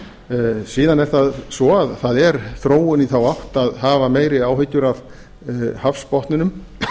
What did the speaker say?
fiskveiðiverndun síðan er það svo að það er þróun í þá átt að hafa meiri áhyggjur af hafsbotninum